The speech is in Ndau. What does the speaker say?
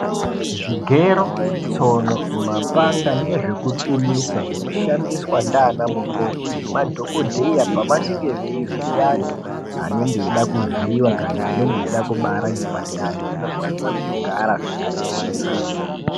Zvigero ,tsono, mapanga nezvekupimisa zvinoshandiswa ndiana mukoti nemadhokodheya pavanenge veivhiya antu anenge eida kuvhiwa kana anenge eida kubata ngepandani zvinofanira kugara zvakachena.